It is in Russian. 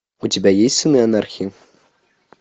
у тебя есть сыны анархии